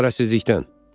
Çarəsizlikdən.